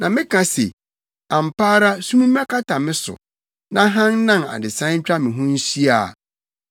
Na meka se, “Ampa ara sum mmɛkata me so na hann nnan adesae ntwa me ho nhyia a,”